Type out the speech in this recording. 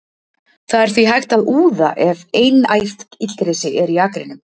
það er því hægt að úða ef einært illgresi er í akrinum